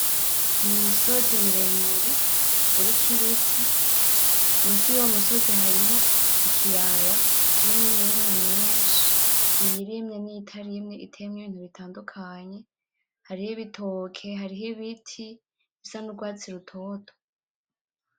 N'umusozi muremure uriko ibiti, musi yuwo musozi hariho ikiyaya kirimwo imirima myinshi iyirimye niyitarimye iteyemwo Ibintu bitandukanye , hariho ibitoke, harimwo ibiti bisa nurwatsi rutoto .